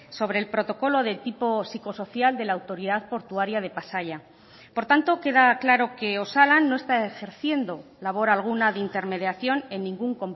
sobre el protocolo de tipo psicosocial de la autoridad portuaria de pasaia por tanto queda claro que osalan no está ejerciendo labor alguna de intermediación en ningún